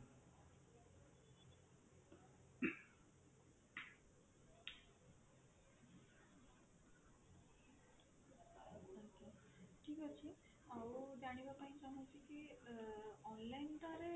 ଠିକ ଅଛି ଆଉ ଜାଣିବା ପାଇଁ ଚାହୁଁଛି କି online ଟା ରେ